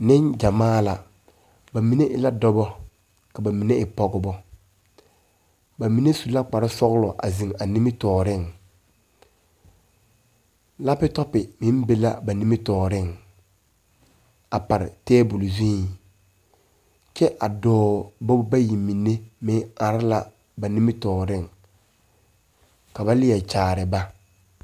Nenɡyamaa la ba mine e la dɔbɔ ka ba mine e pɔɡebɔ ba mine su la kparsɔɡelɔ a zeŋ a nimitɔɔreŋ lapitɔpi meŋ be la a ba nimitɔɔreŋ a pare teebuli zuiŋ kyɛ a dɔɔbɔ bayi mine meŋ are la a ba nimitɔɔreŋ ka ba leɛ kyaare ba.